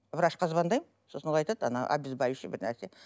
врачқа звондаймын сосын ол айтады ана обезбаливающий бір нәрсе